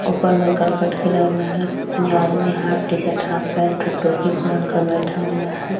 ऊपर में करकट गिरा हुआ है ये आदमी half T-shirt half pant half टोपी पहना हुआ है।